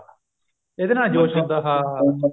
ਇਹਦੇ ਨਾਲ ਜੋਸ਼ ਨਹੀਂ ਆਉਂਦਾ ਹਾਂ